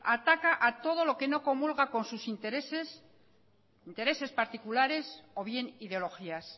ataca a todo lo que no comulga con sus intereses intereses particulares o bien ideologías